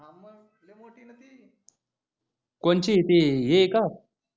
कोणची ती ही आहे